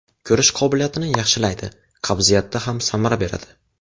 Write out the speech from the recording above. Ko‘rish qobiliyatini yaxshilaydi, qabziyatda ham samara beradi.